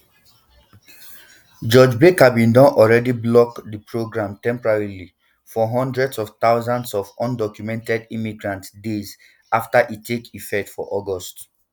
judge barker bin don already block di programme temporarily for hundreds of thousands of undocumented immigrants days afta e take effect for august